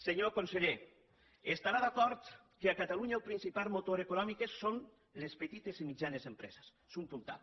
senyor conseller deu estar d’acord que a catalunya el principal motor econòmic són les petites i mitjanes empreses és un puntal